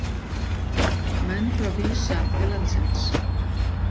Menn frá Visa til landsins